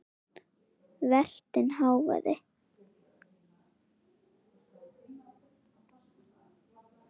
Vertinn hváði.